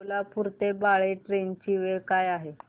सोलापूर ते बाळे ट्रेन ची वेळ काय आहे